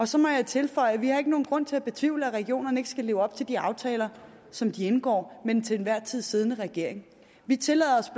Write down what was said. så må jeg tilføje at vi ikke har nogen grund til at betvivle at regionerne vil leve op til de aftaler som de indgår med den til enhver tid siddende regering vi tillader os